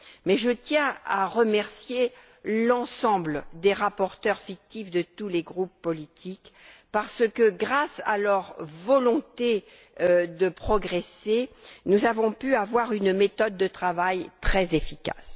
Mais je tiens à remercier l'ensemble des rapporteurs fictifs de tous les groupes politiques car, grâce à leur volonté de progresser, nous avons pu avoir une méthode de travail très efficace.